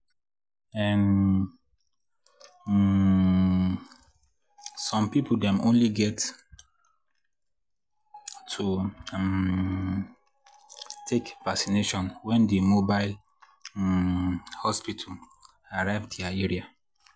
ehnn um — some people dem only get to um take vacination when di mobile um hospital arrive dia area.